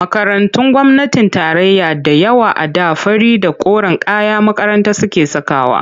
Makarantun gwamnatin tarayya da yawa a da fari da koren kayan makaranta suke sakawa.